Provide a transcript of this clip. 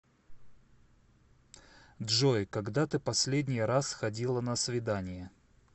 джой когда ты последний раз ходила на свидание